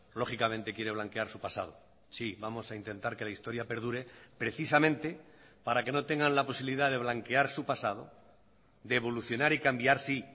lógicamente quiere blanquear su pasado sí vamos a intentar que la historia perdure precisamente para que no tengan la posibilidad de blanquear su pasado de evolucionar y cambiar sí